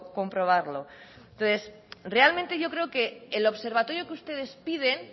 comprobarlo entonces realmente yo creo que el observatorio que ustedes piden